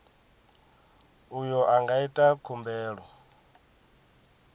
uyo a nga ita khumbelo